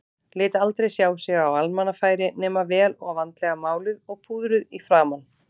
Lét aldrei sjá sig á almannafæri nema vel og vandlega máluð og púðruð í framan.